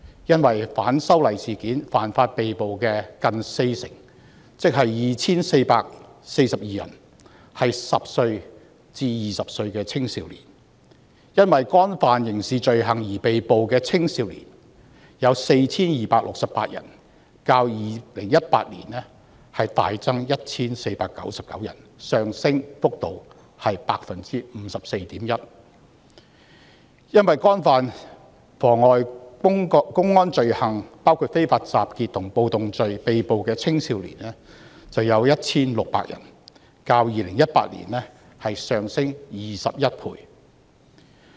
因反修例事件犯法而被捕的人有近四成，即 2,442 人是10歲至20歲的青少年；因干犯刑事罪行而被捕的青少年有 4,268 人，較2018年大增 1,499 人，上升幅度為 54.1%； 因干犯妨礙公安罪行，包括非法集結和暴動罪而被捕的青少年有 1,600 人，較2018年上升21倍。